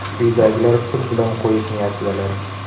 Uydagilar pul bilan qo‘yish niyatidalar.